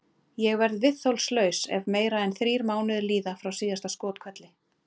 Ég verð viðþolslaus ef meira en þrír mánuðir líða frá síðasta skothvelli.